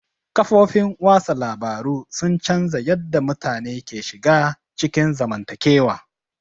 Kafofin watsa labaru sun canza yadda mutane ke shiga cikin zamantakewa.